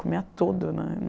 Comia tudo, né.